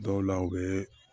Dɔw la u bɛ